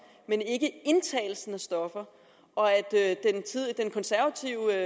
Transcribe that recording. men ikke indtagelsen af stoffer og at den konservative